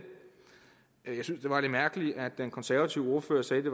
var lidt mærkeligt at den konservative ordfører sagde at det